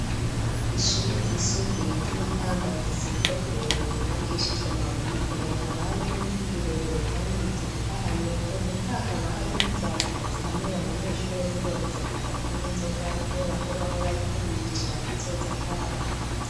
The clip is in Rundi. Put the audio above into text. Ishure ryisumbuye ryi Makamba rifise urugo rurerure rwubakishijwe amabuye imbere hakaba harimwo ibiti birebire kandi bitotahaye ku nkuta hakaba hari n'inzandiko zihanura abanyeshuri zibabuza kuja kunwa inzoga kubera ko baba bariko biyicira kazoza kabo.